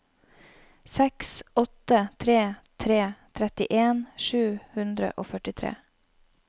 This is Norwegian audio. seks åtte tre tre trettien sju hundre og førtitre